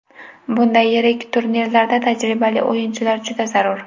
Bunday yirik turnirlarda tajribali o‘yinchilar juda zarur.